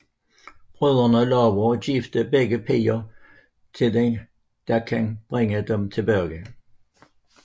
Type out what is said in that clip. Brødrene lover at gifte begge piger til den der kan bringe dem tilbage